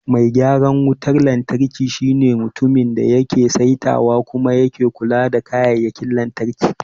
Mai gyaran wutar lantarki shine mutumin da yake saitawa kuma yake kula da kayayyakin lantarki.